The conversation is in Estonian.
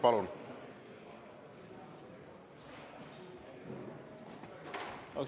Palun!